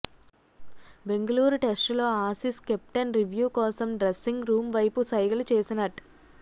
బెంగుళూరు టెస్టులో Aussies captain review కోసం dressing room వైపు సైగలు చేసినట్